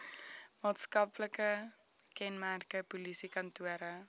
maatskaplike kenmerke polisiekantore